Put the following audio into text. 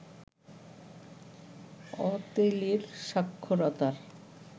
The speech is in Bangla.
অতেলির সাক্ষরতার